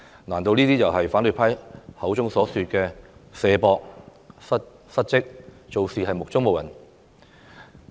難道這就是反對派口中所說的"卸膊"、"失職"、做事目中無人嗎？